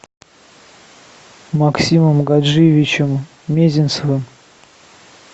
максимом гаджиевичем мезенцевым